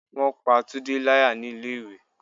Wọn pá Tunde láyà ní ilé ìwé.